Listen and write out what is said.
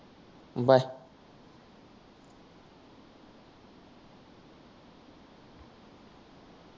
bye